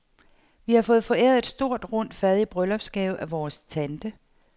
Vi har fået foræret et stort rundt fad i bryllupsgave af vores tante.